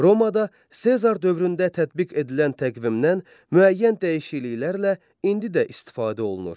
Romada Sezar dövründə tətbiq edilən təqvimdən müəyyən dəyişikliklərlə indi də istifadə olunur.